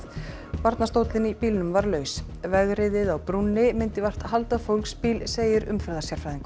barnastóllinn í bílnum var laus vegriðið á brúnni myndi vart halda fólksbíl segir